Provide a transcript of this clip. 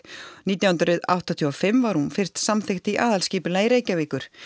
nítján hundruð áttatíu og fimm var hún fyrst samþykkt í aðalskipulag Reykjavíkur